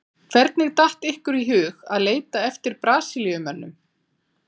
Hvernig datt ykkur í hug að leita eftir Brasilíumönnum?